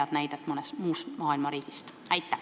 Kas teil on mõni hea näide mõnest riigist?